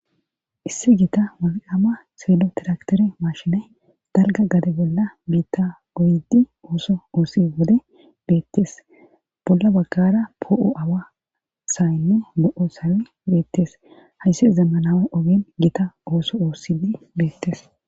issi gita woli ama seelo tiraktere mashinay dalga gade bolla biitta goyidi ooso oossi wode beettes bolla baggara poo7o awa sayenne go7o sawe beettes hayssi zammanawe ogen gita ooso oossidi beettes